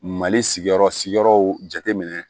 Mali sigiyɔrɔ sigiyɔrɔw jate minɛ